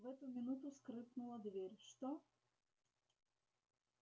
в эту минуту скрыпнула дверь что